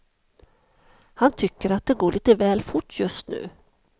Han tycker att det går lite väl fort just nu.